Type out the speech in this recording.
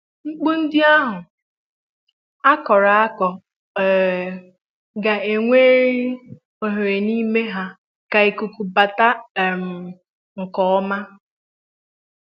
Mkpu ndi ahu a kọrọ akọ um ga ga enwerir oghere n'ime ha ka ikuku bata um nkè ọma